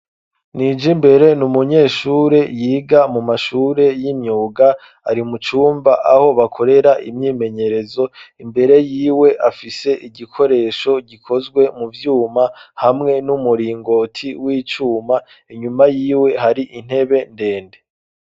Nijimbere, n'umunyeshure yiga mu mashure y'imyuga, ari mucumba aho bakorera imyimenyerezo, imbere yiwe afise igikoresho gikozwe mu vyuma hamwe n'umuringoti w'icuma, inyuma yiwe hari intebe ndende.